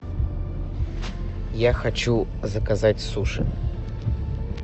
я хочу заказать суши